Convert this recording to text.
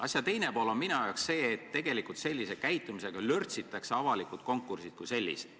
Asja teine pool on minu jaoks see, et sellise käitumisega lörtsitakse avalikud konkursid kui sellised.